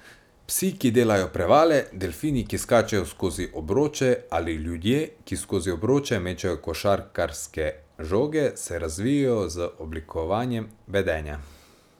Psi, ki delajo prevale, delfini, ki skačejo skozi obroče, ali ljudje, ki skozi obroče mečejo košarkarske žoge, se razvijejo z oblikovanjem vedenja.